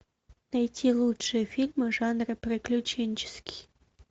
найти лучшие фильмы в жанре приключенческий